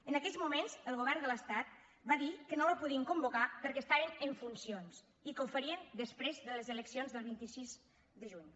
en aquells moments el govern de l’estat va dir que no la podien convocar perquè estaven en funcions i que ho farien després de les eleccions del vint sis de juny